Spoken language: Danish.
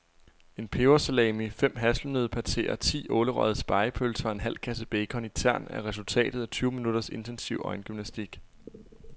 En pebersalami, fem hasselnøddepateer, ti ålerøgede spegepølser og en halv kasse bacon i tern er resultatet af tyve minutters intensiv øjengymnastik.